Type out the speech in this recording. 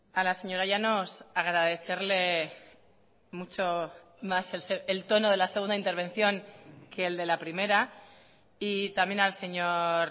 a la señora llanos agradecerle mucho más el tono de la segunda intervención que el de la primera y también al señor